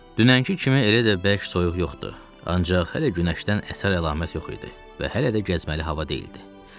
Dünənki kimi elə də bərk soyuq yoxdur, ancaq hələ günəşdən əsər əlamət yox idi və hələ də gəzməli hava deyildi.